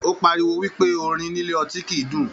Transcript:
O páríwó wípé orin nílé ọtí kìí dùn.